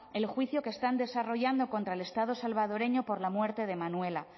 el juicio que están desarrollando contra el estado salvadoreño por la muerte de manuela